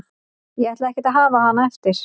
Ég ætla ekkert að hafa hana eftir.